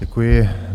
Děkuji.